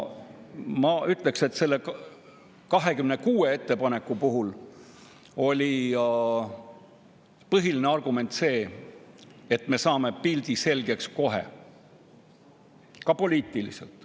Ma ütleksin, et selle 26 ettepaneku puhul oli põhiline argument see, et me saame pildi kohe selgeks, ka poliitiliselt.